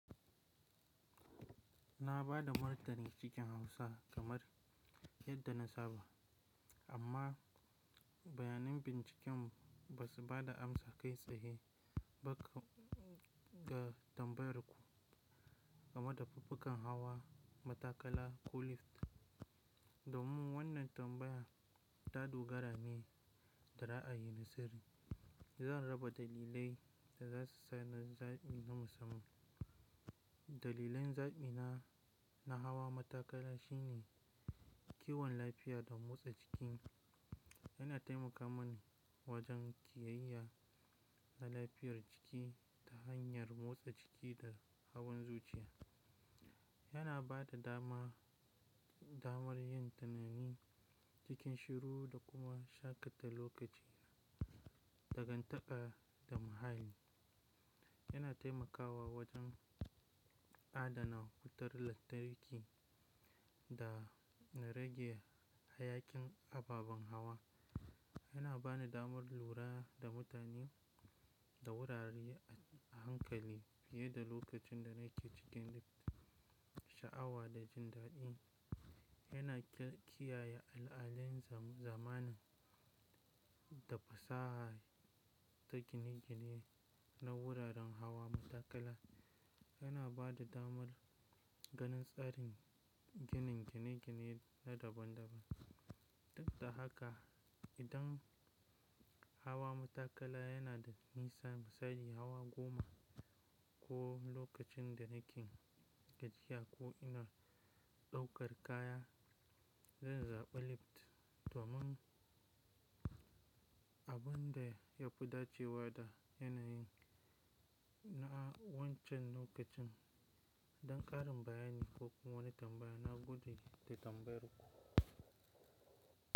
Na ba da martani cikin hausa kamar yadda na saba amma bayanan binciken ba su ba da amsa kai tsaye ba ga tambayar ku game da faffukan hawa matakala ko lift. Domin wannan tambaya ta dogara ne da ra'ayi na sirri, zan raba dalilai da za su sa na zaɓi na musamman. Dalilin zaɓina na hawa matakala shine kiwon lafiya da motsa jiki. Yana taimaka mani wajen kiyayye na lafiyar jiki ta hanyar motsa jiki da hawan zuciya. Yana ba da damar yin tanadi cikin shiru da kuma shakata lokaci, dangantaka da muhalli. Yana taimakawa wajen adana wutar lantarki da rage hayakin ababen hawa. Yana ba ni damar lura da mutane da wurare a hankali fiye da lokacin da nake cikin sha'awa da jin daɗi. Yana kiyaye al'adun zamanin da fasaha ta gine-gine na wuraren hawa matakala. Yana ba da damar ganin tsarin ginin gine-gine na daban-daban. Duk da haka, idan hawa matakala yana da nisa misali hawa goma ko lokacin da nake gajiya ko ina ɗaukar kaya, zan zaɓi lift. Domin abin da ya fi dacewa da yanayi na a wancan lokacin. Don ƙarin bayani ko kuma wani tambaya, na gudu da tambayar ku.